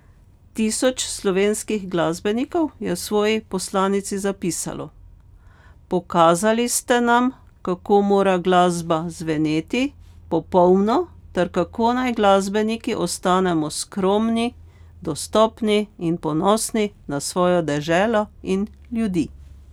Tisoč slovenskih glasbenikov je v svoji poslanici zapisalo: 'Pokazali ste nam, kako mora glasba zveneti popolno ter kako naj glasbeniki ostanemo skromni, dostopni in ponosni na svojo deželo in ljudi.